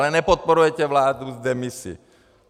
Ale nepodporujete vládu v demisi.